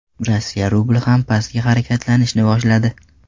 Rossiya rubli ham pastga harakatlanishni boshladi.